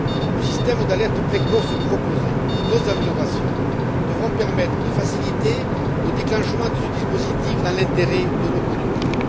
Le système d'alerte précoce proposé et d'autres améliorations devront permettre de faciliter le déclenchement de ce dispositif dans l'intérêt de nos producteurs.